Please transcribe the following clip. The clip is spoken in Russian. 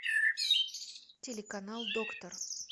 телеканал доктор